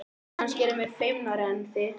Kannski erum við feimnari en þið.